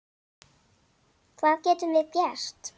Hvað getum við gert?